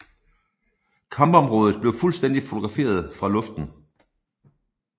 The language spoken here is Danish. Kampområdet blev fuldstændig fotograferet fra luften